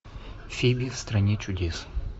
фиби в стране чудес